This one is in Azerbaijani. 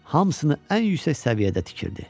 hamısını ən yüksək səviyyədə tikirdi.